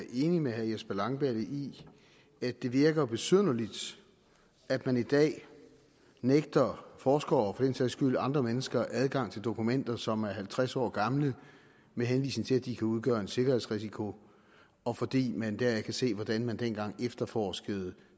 enig med herre jesper langballe i at det virker besynderligt at man i dag nægter forskere og den sags skyld andre mennesker adgang til dokumenter som er halvtreds år gamle med henvisning til at de kan udgøre en sikkerhedsrisiko og fordi man deraf kan se hvordan man dengang efterforskede